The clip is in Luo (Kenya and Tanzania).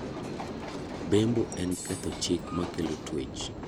Bembo en ketho chik makelo tuech.